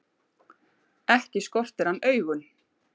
Ekki skortir hann augun.